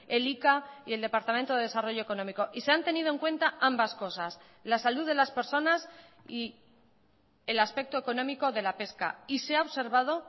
elika y el departamento de desarrollo económico y se han tenido en cuenta ambas cosas la salud de las personas y el aspecto económico de la pesca y se ha observado